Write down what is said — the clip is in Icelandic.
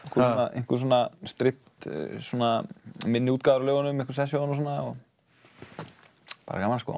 einhver svona svona minni útgáfur af lögunum einhver session og svona bara gaman sko